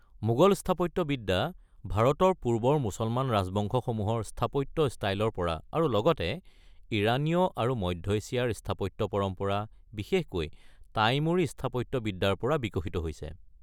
মোগল স্থাপত্যবিদ্যা ভাৰতৰ পূৰ্বৰ মুছলমান ৰাজবংশসমূহৰ স্থাপত্য ষ্টাইলৰ পৰা আৰু লগতে ইৰানীয় আৰু মধ্য এছিয়াৰ স্থাপত্য পৰম্পৰা, বিশেষকৈ টাইমূৰী স্থাপত্যবিদ্যাৰ পৰা বিকশিত হৈছে।